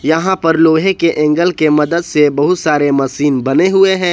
यहां पर लोहे के एंगल के मदद से बहुत सारे मशीन बने हुए हैं।